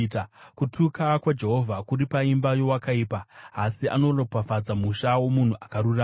Kutuka kwaJehovha kuri paimba yeakaipa, asi anoropafadza musha womunhu akarurama.